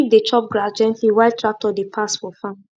sheep dey chop grass gently while tractor dey pass for farm